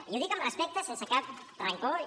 i ho dic amb respecte sense cap rancor i